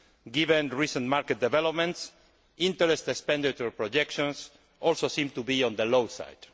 Given recent market developments, interest and expenditure projections also seem to be on the low side.